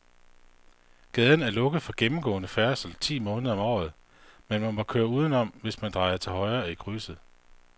Gaden er lukket for gennemgående færdsel ti måneder om året, men man kan køre udenom, hvis man drejer til højre i krydset.